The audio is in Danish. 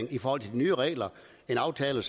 folk er optaget